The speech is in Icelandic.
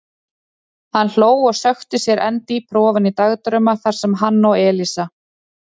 Hann hló og sökkti sér enn dýpra ofan í dagdrauma þar sem hann og Elísa.